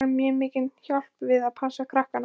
Hún þarf mjög mikla hjálp við að passa krakkana.